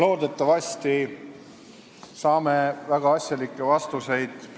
Loodetavasti saame peaministrilt väga asjalikke vastuseid.